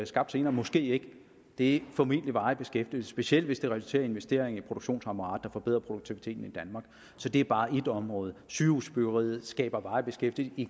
skabt senere måske ikke det er formentlig varig beskæftigelse specielt hvis det resulterer i investeringer i produktionsapparatet der forbedrer produktiviteten i danmark det er bare ét område sygehusbyggeriet skaber varig beskæftigelse i